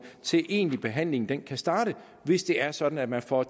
indtil egentlig behandling kan starte hvis det er sådan at man får